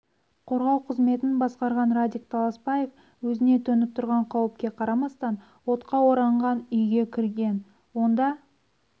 қорғау қызметін басқарған радик таласбаев өзіне төніп тұрған қауіпке қарамастан отқа оранған үйге кірген онда